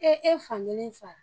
E e fankelen sa la.